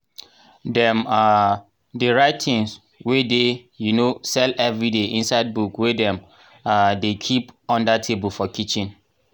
dem um dey write things wey dey um sell everiday inside book wey dem um dey keep under table for kitchen.